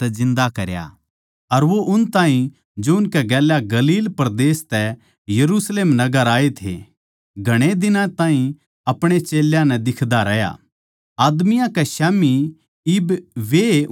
अर वो उन ताहीं जो उसकै गेल्या गलील परदेस तै यरुशलेम नगर आये थे घणे दिनां ताहीं अपणे चेल्यां नै दिख्दा रहया आदमियाँ कै स्याम्ही इब वैए उसके गवाह सै